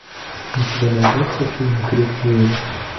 у тебя найдется фильм крик зверя